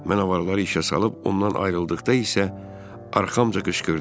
Mən avarları işə salıb ondan ayrıldıqda isə, arxamca qışqırdı.